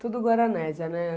Tudo Guaranésia, né?